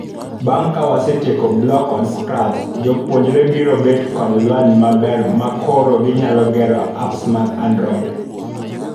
Bang' kawasetieko Block kod Scratch, jopuonjre biro bet kod lony maber makoro ginyalo gero apps mag android.